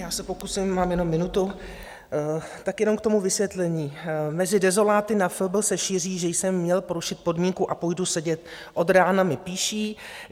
Já se pokusím, mám jenom minutu, tak jenom k tomu vysvětlení: "Mezi dezoláty na FB se šíří, že jsem měl porušit podmínku a půjdu sedět, od rána mi píší.